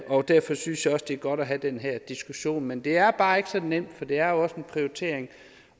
og derfor synes jeg også det er godt at have den her diskussion men det er bare ikke så nemt for det er også en prioritering